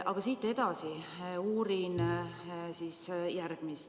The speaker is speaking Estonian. Aga siit edasi uurin järgmist.